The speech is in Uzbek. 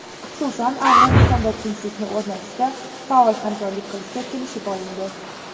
Xususan, Afg‘onistonda tinchlikni o‘rnatishda faol hamkorlik qilishga kelishib olindi.